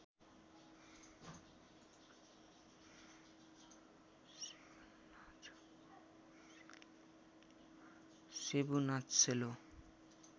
सेब्रु नाच सेलो